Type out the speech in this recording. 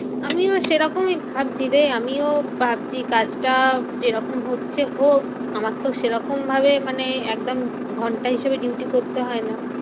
আমিও সেরকমই ভাবছি রে। আমিও ভাবছি কাজটা যেরকম হচ্ছে হোক, আমার তো সেরকম ভাবে মানে একদম ঘন্টা হিসেবে duty করতে হয় না।